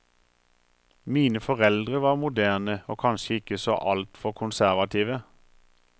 Mine foreldre var moderne og kanskje ikke så altfor konservative.